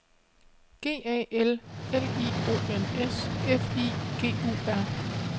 G A L L I O N S F I G U R